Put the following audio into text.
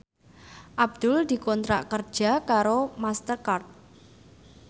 Abdul dikontrak kerja karo Master Card